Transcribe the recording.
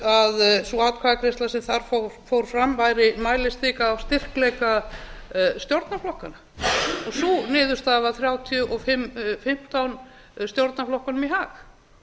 að sú atkvæðagreiðsla sem þar fór fram væri mælistika á styrkleika stjórnarflokkanna sú niðurstaða var þrjátíu og fimm fimmtán stjórnarflokkunum í hag